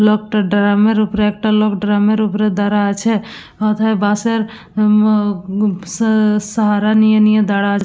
লোকটা ড্রামের উপরে একটা লোক ড্রামের উপরে দাঁড়া আছে। কোথায় বাঁশের উ আ উ উব স সাহারা নিয়ে নিয়ে দাঁড়া--